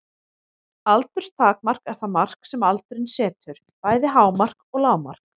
Aldurstakmark er það mark sem aldurinn setur, bæði hámark og lágmark.